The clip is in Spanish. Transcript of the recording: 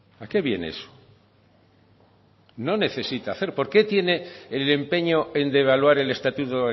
a qué viene eso no necesita hacer por qué tiene el empeño en devaluar el estatuto